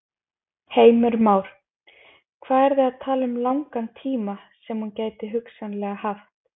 Heimir Már: Hvað eru þið að tala um langan tíma sem hún gæti hugsanlega haft?